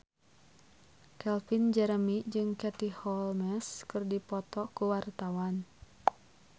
Calvin Jeremy jeung Katie Holmes keur dipoto ku wartawan